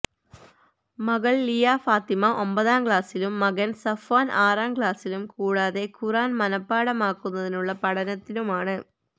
മകൾ ലിയ ഫാത്തിമ ഒമ്പതാം ക്ലാസിലും മകൻ സഫ്വാൻ ആറാം ക്ലാസിലും കൂടാതെ ഖുർആൻ മനപാഠമാക്കുന്നതിനുള്ള പഠനത്തിലുമാണ്